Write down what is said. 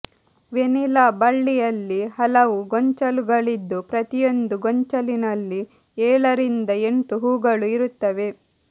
vanilla ಬಳ್ಳಿಯಲ್ಲಿ ಹಲವು ಗೊಂಚಲುಗಳಿದ್ದು ಪ್ರತಿಯೊಂದು ಗೊಂಚಲಿನಲ್ಲಿ ಏಳರಿಂದ ಎಂಟು ಹೂಗಳು ಇರುತ್ತವೆ